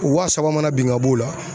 Waa saba mana bin ka b'o la.